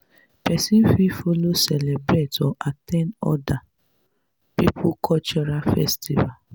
person fit follow celebrate or at ten d oda pipo cultural festival